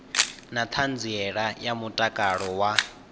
na ṱhanziela ya mutakalo wa